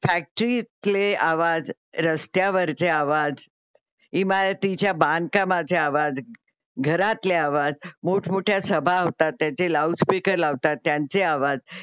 फॅक्ट्रीतीले आवाज, रस्त्यावरचे आवाज, इमारीतींच्या बांधकामातले आवाज, घरातले आवाज, मोठमोठ्या सभा होतात त्याचे लाउडस्पीकर लावतात त्यांचे आवाज